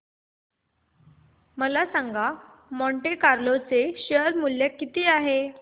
मला सांगा Monte Carlo चे शेअर मूल्य किती आहे